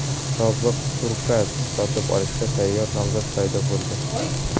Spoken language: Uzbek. Sobiq Turkuaz’ni sotib olishga tayyor nomzod paydo bo‘ldi.